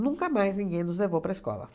Nunca mais ninguém nos levou para a escola.